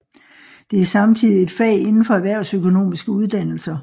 Det er samtidig et fag inden for erhvervsøkonomiske uddannelser